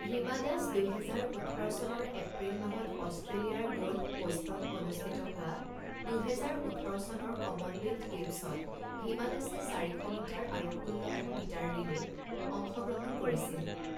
হিমা দাস দুহেজাৰ ওঠৰ চনৰ এপ্ৰিল মাহত অষ্ট্ৰেলিয়াৰ গোলফ পোষ্টত অনুস্থিত হোৱা দুহেজাৰ ওঠৰ চনৰ কমনৱেলথ গেমছত হিমা দাসে চাৰিশ মিটাৰ আৰু ষোল্লশ মিটাৰ ৰিলেত অংশগ্ৰহণ কৰিছিল।